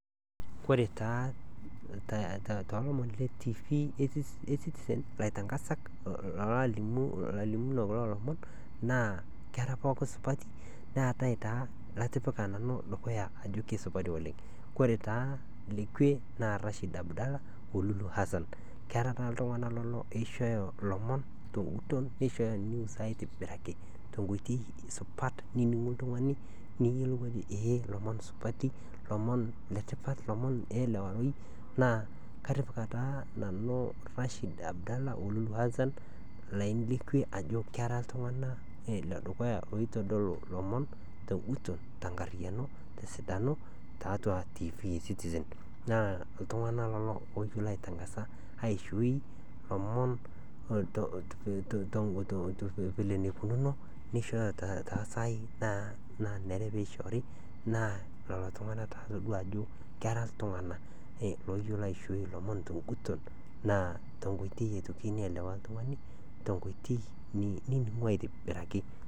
Ore taa too lomon lee TV ecitizen egira aitangaza alimu kulo omon naa tee pooki supat naata nanu litipika Ajo kisupati oleng ataa taa nanu latipika kwe aa lulu Hassan oo Rashid Abdalla keeta iltung'ana loishooho elomon teguton nishooyo aitobiraki tenkoitoi supat niningu iltung'ana nijo elomon supati elomon oo elewai naa atipika nanu Rashid Abdalla oo Lulu Hassan Ajo kera iltung'ana ledukuya oitodolu lomon teguton tenkariano tesidano Ajo ketii iltung'ana tiatua tv esitisen naa iltung'ana lelo oyiolo aitangaza aishoo elomon vile naikunono nishooyo too sai nanare pee eishori naa lelo tung'ana atodua Ajo era iltung'ana oyiolo aishoo elomon teguton naa tenkoitoi naelewa aitoki oltung'ani tenkoitoi niningu aitobiraki